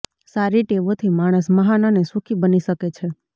સારી ટેવોથી માણસ મહાન અને સુખી બની શકે છે